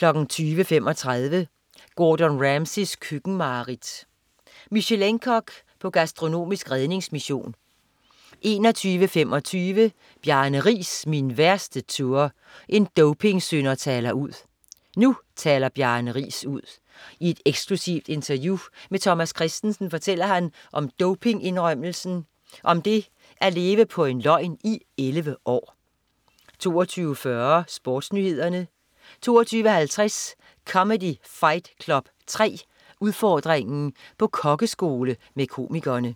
20.35 Gordon Ramsays køkkenmareridt. Michelin-kok på gastronomisk redningsmission 21.25 Bjarne Riis, min værste tour. En dopingsynder taler ud. Nu taler Bjarne Riis ud. I et eksklusivt interview med Thomas Kristensen fortæller han om dopingindrømmelsen, om det at leve på en løgn i 11 år 22.40 SportsNyhederne 22.50 Comedy Fight Club 3. Udfordringen. På kokkeskole med komikerne